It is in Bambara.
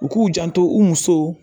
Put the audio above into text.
U k'u janto u musow